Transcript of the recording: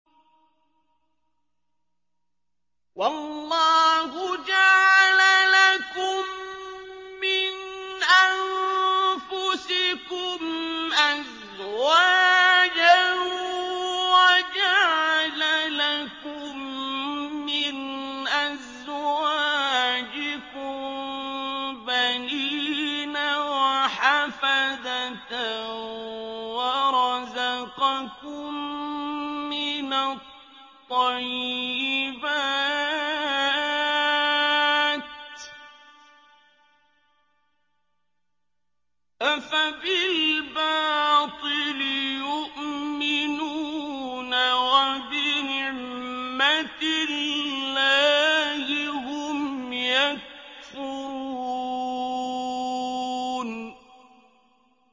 وَاللَّهُ جَعَلَ لَكُم مِّنْ أَنفُسِكُمْ أَزْوَاجًا وَجَعَلَ لَكُم مِّنْ أَزْوَاجِكُم بَنِينَ وَحَفَدَةً وَرَزَقَكُم مِّنَ الطَّيِّبَاتِ ۚ أَفَبِالْبَاطِلِ يُؤْمِنُونَ وَبِنِعْمَتِ اللَّهِ هُمْ يَكْفُرُونَ